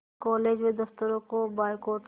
college व दफ़्तरों का बायकॉट किया